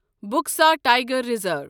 Buxa tiger reserve